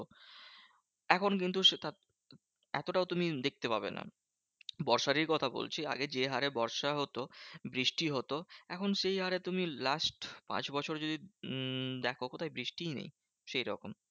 এখন কিন্তু সে তার এতটাও তুমি দেখতে পাবে না। বর্ষারই কথা বলছি আগে যে হারে বর্ষা হতো, বৃষ্টি হতো, এখন সেই হারে তুমি last পাঁচ বছর যদি উম দেখো কোথায় বৃষ্টিই নেই সেইরকম।